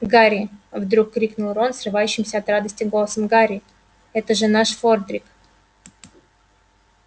гарри вдруг крикнул рон срывающимся от радости голосом гарри это же наш фордрик